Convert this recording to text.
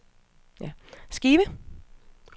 skive